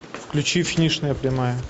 включи финишная прямая